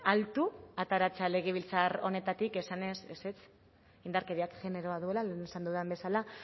altu ateratzea legebiltzar honetatik esanez ezetz indarkeriak generoa duela lehen esan dudan bezala